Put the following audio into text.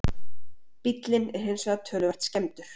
Bíllinn er hins vegar töluvert skemmdur